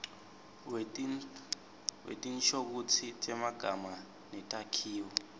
wetinshokutsi temagama netakhiwo